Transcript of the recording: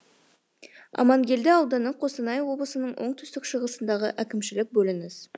амангелді ауданы қостанай облысының оңтүстік шығысындағы әкімшілік бөлініс